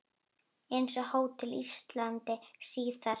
Eins á Hótel Íslandi síðar.